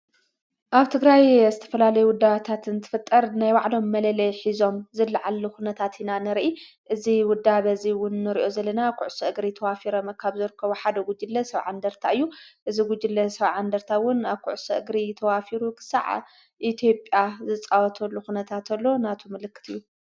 ኣብቲ ግራይ ኣስተፈላለይ ውዳዋታትን ትፍጠር ናይ ዋዕሎም መለለየ ኂዞም ዝለዓሉ ዂነታ ቲና ንርኢ እዝ ውዳ በዙይውን ንርዮ ዘለና ዂዕ ሥእግሪ ተዋፊረ መካብ ዘርከ ዊሓደ ጕጅለ ሰው ዓንደርታ እዩ እዝ ጕጅለ ሰው ዓንደርታውን ኣብዂዕሥ እግሪ ተዋፊሩ ኽሳዓ ኢቲብያ ዝፃወተሉ ዂነታ እተሎ ናቱ ምልክት እዩ።